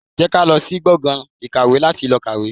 Jẹ́ ká lọ sí gbọ̀ngàn ìkàwé láti lọ kàwé.